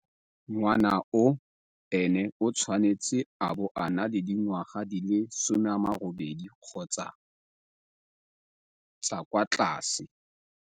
Ngwana yoo ene o tshwanetse a bo a na le dingwaga di le 18 kgotsa tsa kwa tlase.